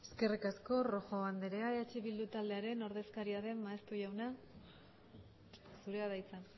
eskerrik asko rojo andrea ehbildu taldearen ordezkariaren maeztu jauna zurea da hitza